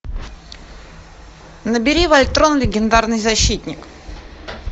набери вольтрон легендарный защитник